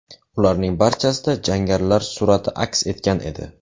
Ularning barchasida jangarilar surati aks etgan edi.